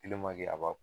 a ba